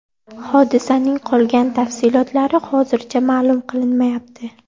Hodisaning qolgan tafsilotlari hozircha ma’lum qilinmayapti.